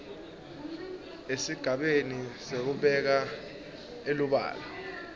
esigabeni sekubeka elubala